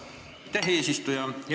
Aitäh, eesistuja!